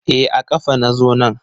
E a kafa na zo nan.